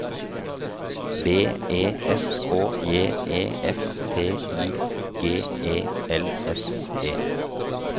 B E S K J E F T I G E L S E